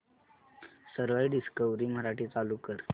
सरळ डिस्कवरी मराठी चालू कर